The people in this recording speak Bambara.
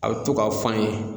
A bɛ to ka fɔ an ye